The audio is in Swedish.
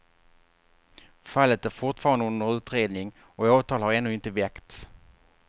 Fallet är fortfarande under utredning och åtal har ännu inte väckts.